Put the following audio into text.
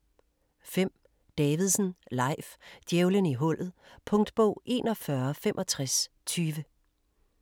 5. Davidsen, Leif: Djævelen i hullet Punktbog 416520